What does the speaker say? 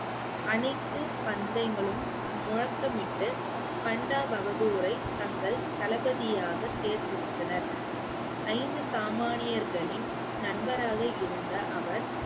அனைத்து பந்தயங்களும் முழக்கமிட்டு பண்டா பகதூரை தங்கள் தளபதியாக தேர்ந்தெடுத்தனர் ஐந்து சாமானியர்களின் நண்பராக இருந்த அவர்